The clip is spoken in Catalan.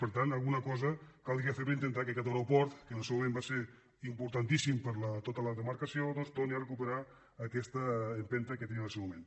per tant alguna cosa caldria fer per intentar que aquest aeroport que en el seu moment va ser importantís·sim per a tota la demarcació doncs torni a recuperar aquesta empenta que tenia en el seu moment